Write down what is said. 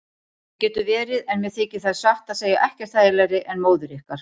Það getur verið en mér þykir þær satt að segja ekkert þægilegri en móður ykkar.